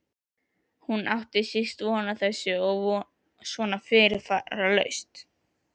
Hún átti síst von á þessu og svona fyrirvaralaust!